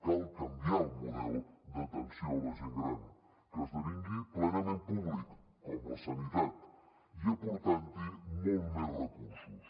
cal canviar el model d’atenció a la gent gran que esdevingui plenament públic com la sanitat i aportant hi molts més recursos